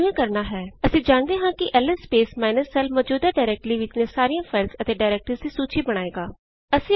ਇਹ ਕਿਵੇਂ ਕਰਣਾ ਹੈ ਅਸੀ ਜਾਣਦੇ ਹਾਂ ਕਿ ਐਲਐਸ ਸਪੇਸ ਮਾਈਨਸ l ਮੌਜੂਦਾ ਡਾਇਰੈਕਟਰੀ ਵਿਚਲੀਆਂ ਸਾਰੀਆਂ ਫਾਈਲਜ਼ ਅਤੇ ਡਾਇਰੈਕਟਰੀਜ਼ ਦੀ ਸੂਚੀ ਬਣਾਏਗਾ